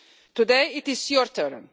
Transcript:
Today it is your turn.